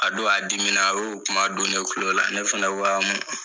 A don a dimina. A y'o kuma don ne tulo la ne fɛnɛ ko aa mun